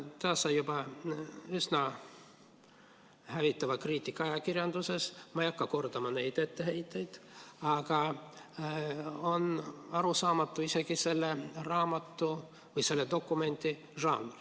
See sai juba üsna hävitava kriitika ka ajakirjanduses, ma ei hakka praegu kordama neid etteheiteid, aga arusaamatu on isegi selle dokumendi žanr.